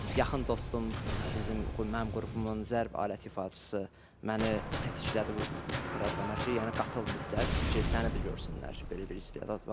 Yaxın dostum, mənim qrupumun zərb aləti ifaçısı məni tətiklədi bu proqrama ki, yəni qatıl mütləq ki, səni də görsünlər ki, belə bir istedad var.